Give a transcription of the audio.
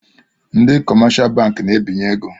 Ndị kọmáshá bankị na-ebinyè égo